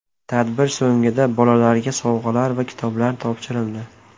Tadbir so‘nggida bolalarga sovg‘alar va kitoblar topshirildi.